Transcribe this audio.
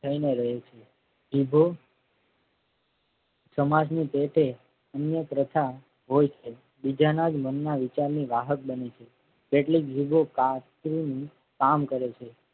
થઈને રહે છે. જીભો સમાજ ની પેટે અન્ય પ્રથા હોય છે. બીજાના જ મનના વિચારની વાહક બની છે. કેટલીક ભૂલો કામ કરે છે.